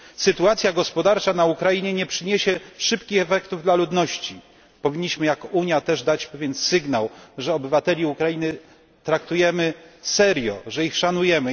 Sytuacja gospodarcza na Ukrainie nie przyniesie szybkich efektów dla ludności, powinniśmy jako Unia też dać pewien sygnał, że obywateli Ukrainy traktujemy serio, że ich szanujemy.